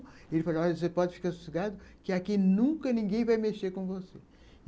Ele falou, olha, você pode ficar sossegada, que aqui nunca ninguém vai mexer com você.